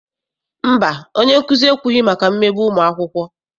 Mba, onyenkuzi ekwughị maka mmegbu ụmụakwụkwọ.